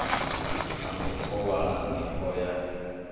na u kovhana nivho ya